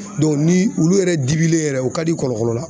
ni ulu yɛrɛ dibilen yɛrɛ u ka di kɔlɔkɔlɔ la.